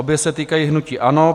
Obě se týkají hnutí ANO.